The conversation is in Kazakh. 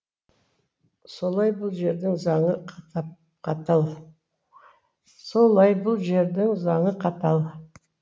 солай бұл жердің заңы қат